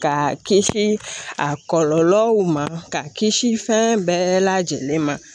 Ka kisi a kɔlɔlɔw ma ka kisi fɛn bɛɛ lajɛlen ma